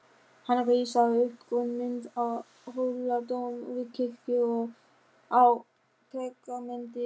Hann rissaði upp grunnmynd af Hóladómkirkju á pergamentið.